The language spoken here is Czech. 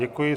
Děkuji.